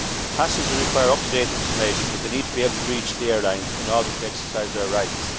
Passengers require up to date information but they need to be able to reach the airlines in order to exercise their rights.